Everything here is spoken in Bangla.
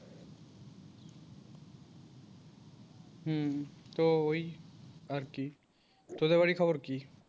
হুম। তো ওই আরকি তোদের ওই খবর কি?